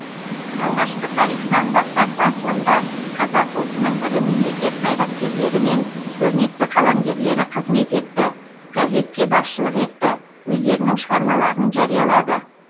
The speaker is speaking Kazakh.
алғашқы тарихынан бастап басылымда қазақ ұлтының ірі мемлекет қайраткерлері мен көрнекті қаламгерлері қызмет етті газетке басшылық етті өздерінің шығармаларын жариялады